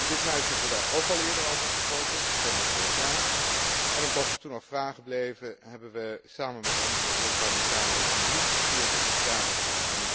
In dit huis hebben we daar ook al eerder over gesproken in september vorig jaar, en omdat er toen nog vragen bleven, hebben we samen met andere europarlementariërs een brief gestuurd om verduidelijking.